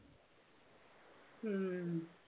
ഉം